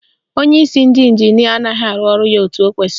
Onyeisi ndị ịnjinịa anaghị arụ ọrụ ya etu o kwesiri